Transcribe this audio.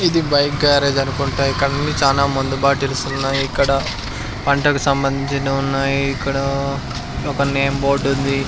ఇది bike garage అనుకుంటా ఇక్కడ అన్నీ చాలా మందు బాటిల్స్ ఉన్నాయి ఇక్కడ పంటకు సంబంధించినవున్నాయి ఇక్కడ ఒక నేమ్ బోర్డు ఉంది.